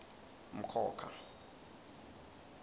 mkhokha